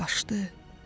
Qaşdı,